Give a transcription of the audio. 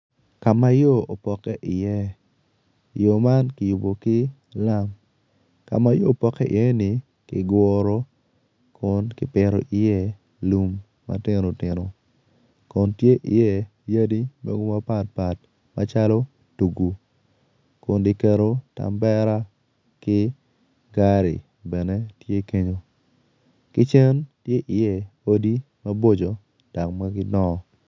Ka ma yo opokke iye yo man kiyubo ki lam ka ma yo opokke iyeni kiguro kun kipito iye lum ma tino tino kun tye iye yadi mapatpat macalo tugu kun kiketo tan bera ki gari bene tye kenyu ki cen tye iye odi maboco dok ma gidongo.